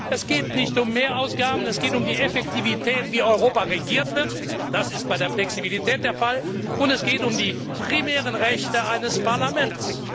Es geht nicht um Mehrausgaben, es geht um die Effektivität, wie Europa regiert wird das ist bei der Flexibilität der Fall und es geht um die primären Rechte eines Parlaments.